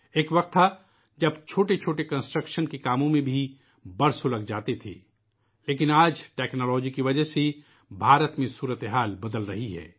ایک وقت تھا ، جب چھوٹے چھوٹے تعمیری کام میں بھی کئی سال لگ جاتے تھے لیکن آج ٹیکنا لوجی کی وجہ سے بھارت میں صورتِ حال بدل رہی ہے